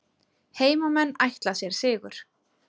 Heimamenn ætla sér sigur